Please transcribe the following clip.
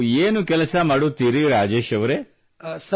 ನೀವು ಏನು ಕೆಲಸ ಮಾಡುತ್ತೀರಿ ರಾಜೇಶ್ ಅವರೇ